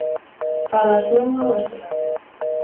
Farið að snjóa á Austurlandi